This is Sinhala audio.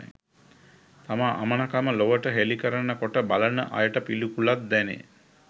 තම අමනකම ලොවට හෙළි කරන කොට බලන අයට පිළිකුලක් දැනේ